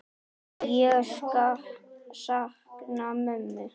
Ég sakna mömmu.